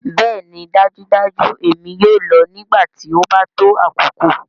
Bẹẹni dajudaju èmi yoo lọ nigbati o ba to akoko.